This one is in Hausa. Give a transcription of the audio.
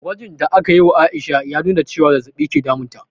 Gwajin da aka yi wa Aisha ya nuna cewa zazzabi ke damun ta